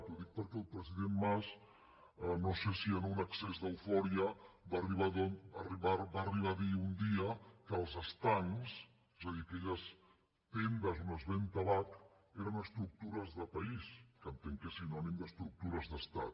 ho dic perquè el president mas no sé si en un excés d’eufòria va arribar a dir un dia que els estancs és a dir aquelles tendes on es ven tabac eren estructures de país que entenc que és sinònim d’estructures d’estat